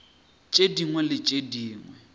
tše dingwe le tše dingwe